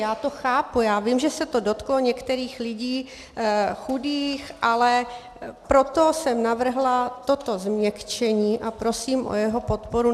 Já to chápu, já vím, že se to dotklo některých lidí chudých, ale proto jsem navrhla toto změkčení a prosím o jeho podporu.